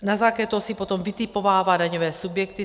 Na základě toho si potom vytipovává daňové subjekty.